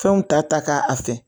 Fɛnw ta ta k'a fɛ